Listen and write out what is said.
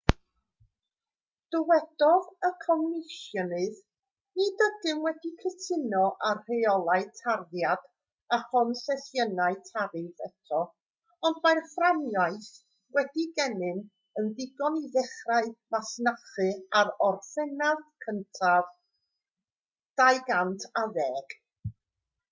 dywedodd y comisiynydd nid ydym wedi cytuno ar reolau tarddiad a chonsesiynau tariff eto ond mae'r fframwaith sydd gennym yn ddigon i ddechrau masnachu ar orffennaf 1 2010